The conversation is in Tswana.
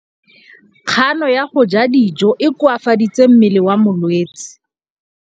Kganô ya go ja dijo e koafaditse mmele wa molwetse.